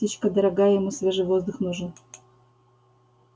птичка дорогая ему свежий воздух нужен